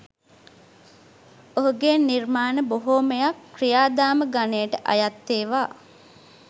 ඔහුගේ නිර්මාණ බොහොමයක් ක්‍රියාධාම ගණයට අයත් ඒවා